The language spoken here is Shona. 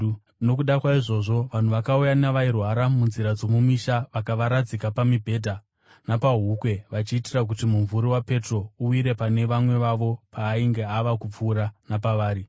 Nokuda kwaizvozvo, vanhu vakauya navairwara munzira dzomumisha vakavaradzika pamibhedha napahukwe vachiitira kuti mumvuri waPetro uwire pane vamwe vavo paainge ava kupfuura napavari.